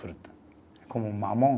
Fruta, é como mamão.